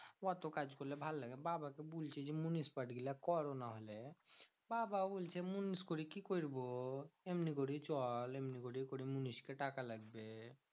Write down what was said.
অত কাজ করলে ভালো লাগে? বাবা তো বলছে যে মুনিস part গুলো করো নাহলে। বাবা বলছে মুনিস করে কি করবো? এমনি করেই চল এমনি করেই করে মুনিসকে টাকা লাগবে।